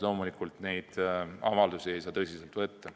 Loomulikult neid avaldusi ei saa tõsiselt võtta.